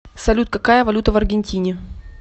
салют какая валюта в аргентине